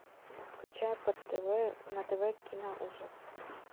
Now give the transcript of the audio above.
включай на тв киноужас